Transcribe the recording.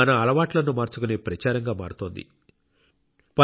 పరిశుభ్రత అనేది కేవలం ఒక కార్యక్రమం అని మనం మర్చిపోకూడదు